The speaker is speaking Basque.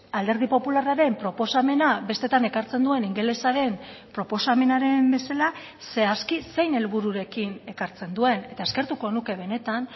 alderdi popularraren proposamena besteetan ekartzen duen ingelesaren proposamenaren bezala zehazki zein helbururekin ekartzen duen eta eskertuko nuke benetan